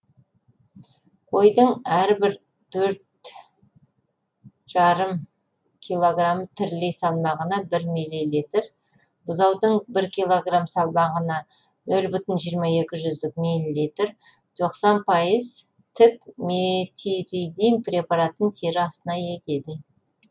қойдың әрбір төрт жарым килограмм тірілей салмағына бір милилитр бұзаудың бір килограмм салмағына нөл бүтін жиырма екі жүздік милилитр тоқсан пайыз тік метиридин препаратын тері астына егеді